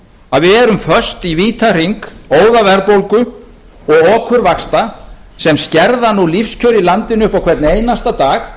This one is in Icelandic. að við erum föst í vítahring óðaverðbólgu og okurvaxta sem skerða nú lífskjör í landinu upp á hvern einasta dag